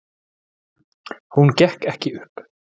Hún gekk ekki upp.